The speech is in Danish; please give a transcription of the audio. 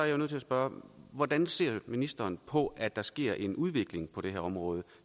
jo nødt til at spørge hvordan ser ministeren på at der sker en udvikling på det her område